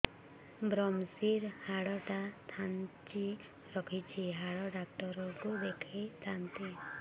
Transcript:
ଵ୍ରମଶିର ହାଡ଼ ଟା ଖାନ୍ଚି ରଖିଛି ହାଡ଼ ଡାକ୍ତର କୁ ଦେଖିଥାନ୍ତି